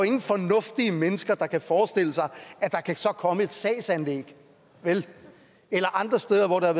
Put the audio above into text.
ingen fornuftige mennesker der kan forestille sig at der så kan komme et sagsanlæg vel eller andre steder hvor der